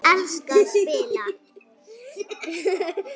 Ég elska að spila.